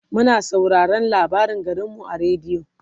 muna sauraraon labarin garinmu a radio